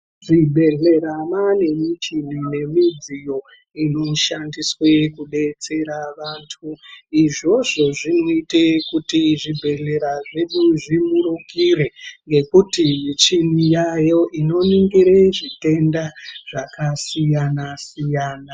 Muzvibhedhlera maane michini nemidziyo inoshandiswe kudetsera vantu izvozvo zvinoite kuti zvibhedhlera zvedu zvimurukire ngekuti michini yayo inoningire zvitenda zvakasiyana siyana.